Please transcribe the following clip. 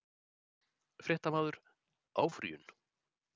Fréttamaður: Áfrýjun?